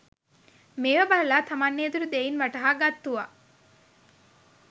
මේවා බලලා තමන් ඒ දුටු දෙයින් වටහාගත්තුවා